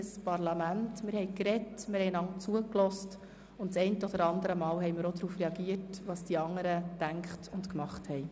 Wir sind ein Parlament, wir haben gesprochen, einander zugehört, und ein paarmal haben wir auch auf das reagiert, was die anderen gedacht und gemacht haben.